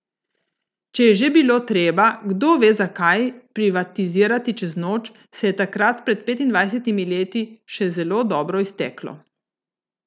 Če je že bilo treba, kdo ve, zakaj, privatizirati čez noč, se je takrat pred petindvajsetimi leti še zelo dobro izteklo.